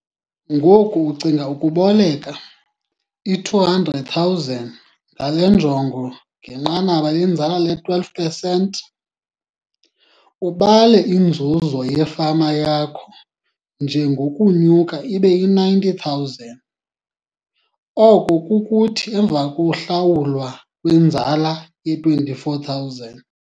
Ngoku ucinga ukuboleka, iR200 000 ngale njongo ngenqanaba lenzala le-12 pesenti. Ubale inzuzo yefama yakho njengenokunyuka ibe yi R90 000, oko kukuthi emva kokuhlawulwa kwenzala ye-R24 000.